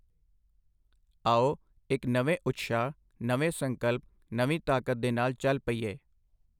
ਆਓ, ਇੱਕ ਨਵੇਂ ਉਤਸ਼ਾਹ, ਨਵੇਂ ਸੰਕਲਪ, ਨਵੀਂ ਤਾਕਤ ਦੇ ਨਾਲ ਚਲ ਪਈਏ।